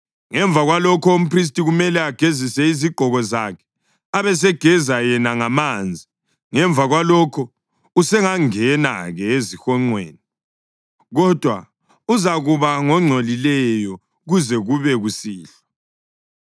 Ngemva kwalokho umphristi kumele agezise izigqoko zakhe abesegeza yena ngamanzi. Ngemva kwalokhu usengangena-ke ezihonqweni, kodwa uzakuba ngongcolileyo kuze kube kusihlwa.